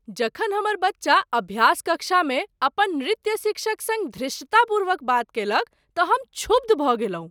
जखन हमर बच्चा अभ्यास कक्षामे अपन नृत्य शिक्षक सङ्ग धृष्टतापूर्वक बात कएलक तँ हम क्षुब्ध भऽ गेलहुँ।